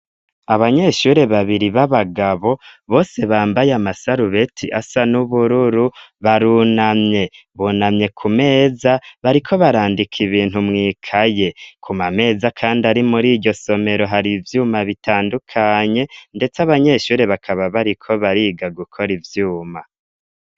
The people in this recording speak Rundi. Abanyeshuri babiri b'abagabo bose bambaye amasarubeti asa n'ubururu barunamye bunamye kumeza bariko barandika ibintu mwikaye kumameza kandi ari muri iyo somero hari ivyuma bitandukanye ndetse abanyeshure bakaba bari ko bariga gukora ivyuma.